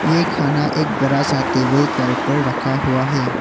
ये खाना एक बड़ा सा टेबल का ऊपर रखा हुआ है।